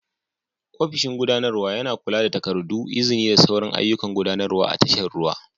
Ofishin gudanarwa yana kula da takardu, izini da sauran ayyukan gudanarwa a tashar ruwa.